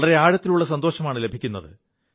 വളരെ ആഴത്തിലുള്ള സന്തോഷമാണു ലഭിക്കുത്